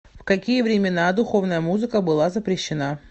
в какие времена духовная музыка была запрещена